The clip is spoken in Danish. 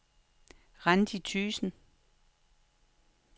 Randi Thygesen